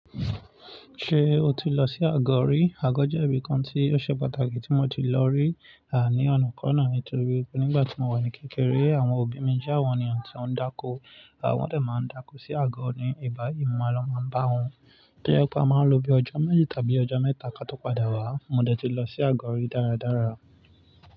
Ṣé o ti lọ sí Àgó rí? Àgó jẹ́ ibìkan tí ó ṣe pàtàkì tí mo ti lọ rí, à ní ọ̀nà kánná eto rí. Nígbà tí mo wà ní kékeré, àwọn òbí mi jẹ́ àwọn eniyàǹ tí wọ̀ń dáko. À wọ́n dẹ̀ máa ń dáko sí Àgó ní ibà yìí, mo máa lọ máa bá wọn. Tí ó je pe a máa lò bíi ọjọ́ méjì tàbí ọjọ́ mẹ́ta ká tó padà wá, mo dẹ̀ ti lọ sí Àgó rí dára dára.